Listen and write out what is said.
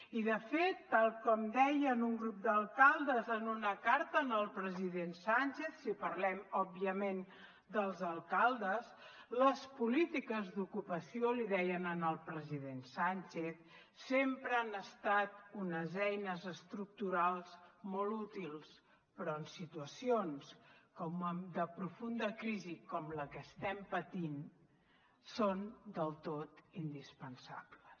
i de fet tal com deien un grup d’alcaldes en una carta al president sánchez si parlem òbviament dels alcaldes les polítiques d’ocupació li deien al president sánchez sempre han estat unes eines estructurals molt útils però en situacions de profunda crisi com la que estem patint són del tot indispensables